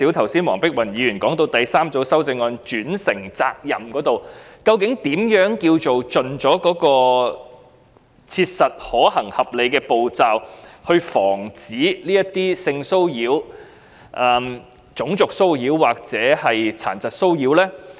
她提及第三組修正案有關"轉承責任"方面，究竟何謂"盡切實可行、合理的步驟，以防止性騷擾、種族騷擾或殘疾騷擾"呢？